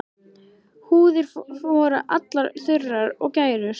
Húðir voru allar þurrar og gærur.